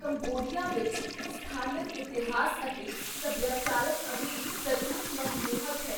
Cambodia ਵਿੱਚ ਸਥਾਨਕ ਇਤਿਹਾਸ ਅਤੇ ਸਭਿਆਚਾਰਕ ਅਮੀਰੀ ਸੱਚਮੁੱਚ ਮਨਮੋਹਕ ਹੈ।